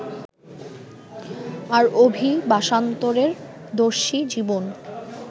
আর অভিবাসান্তরের দর্শী জীবন